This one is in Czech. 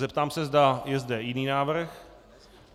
Zeptám se, zda je zde jiný návrh.